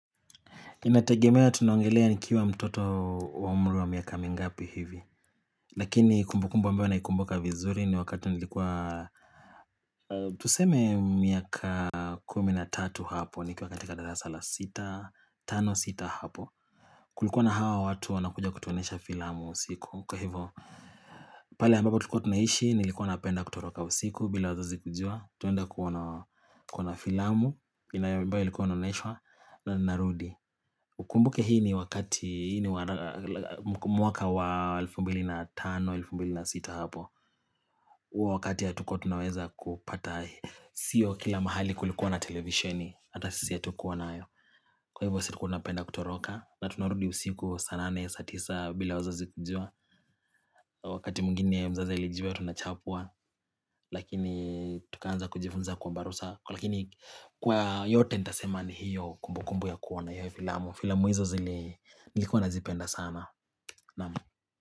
Inategemea tunaongelea nikiwa mtoto wa umri wa miaka mingapi hivi Lakini kumbukumbu ambayo naikumbuka vizuri ni wakati nilikuwa Tuseme miaka kumi na tatu hapo nikiwa katika darasa la sita, tano sita hapo Kulikuwa na hawa watu wanakuja kutuonesha filamu usiku kwa hivo pale ambapo tulikuwa tunaishi nilikuwa napenda kutoroka usiku bila wazazi kujua Tunaenda kuona filamu inaya ambayo ilikuwa inaoneshwa na narudi Ukumbuke hii ni wakati mwaka wa elfu mbili na tano, elfu mbili na sita hapo huo wakati hatukua tunaweza kupata Sio kila mahali kulikuwa na televisheni Hata sisi hatukuwa nayo Kwa hivyo sisi tulikuwa tunapenda kutoroka na tunarudi usiku saa nane, saa tisa bila wazazi kujua Wakati mwigine mzazi alijua tunachapwa Lakini tukaanza kujifunza kuomba ruhusa Lakini kwa yote nitasema ni hiyo kumbukumbu ya kuona Filamu hizo zili nilikuwa nazipenda sana Naam.